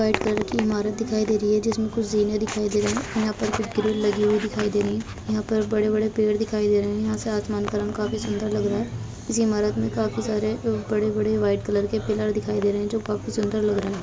white colour की इमारत दिखाई दे रही है जिसमे कुछ दिखाई दे रहीं है | यहाँ पर कुछ ग्रिल लगी हुई दिखाई दे रहीं है | यहाँ पर बड़े बड़े पेड़ दिखाई दे रहे हैं | यहाँ से आसमान का रंग काफी सुन्दर लग रहा है | इसी ईमारत में काफी सारे बड़े बड़े वाइट कलर के पिलर दिखाई दे रहे हैं जो की काफी सुन्दर लग रहा है |